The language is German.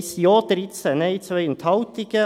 1 Ja, 13 Nein, 2 Enthaltungen.